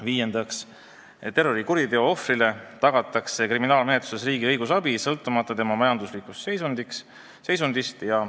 Viiendaks, terrorikuriteo ohvrile tagatakse kriminaalmenetluses riigi õigusabi sõltumata tema majanduslikust seisundist.